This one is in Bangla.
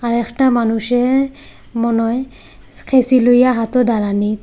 একটা মানুষের মনে হয় ক্যাইসি লইয়া হাতো দাঁড়ানি।